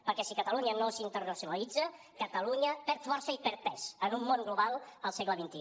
perquè si catalunya no s’internacionalitza catalunya perd força i perd pes en un món global al segle xxi